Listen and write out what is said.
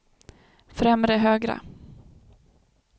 främre högra